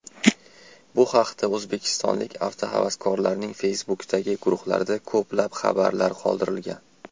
Bu haqda o‘zbekistonlik avtohavaskorlarning Facebook’dagi guruhlarida ko‘plab xabarlar qoldirilgan .